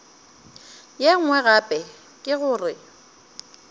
ye nngwe gape ke gore